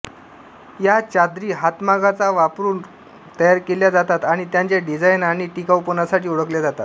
या चादरी हातमागाचा वापरून तयार केल्या जातात आणि त्यांच्या डिझाइन आणि टिकाऊपणासाठी ओळखल्या जातात